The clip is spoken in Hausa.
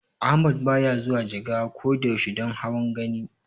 Ahmad baya zuwa Jigawa ko da yaushe don hawan Gani.